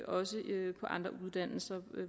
også det på andre uddannelser